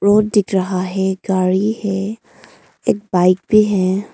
Road दिख रहा है गाड़ी है एक बाइक भी है।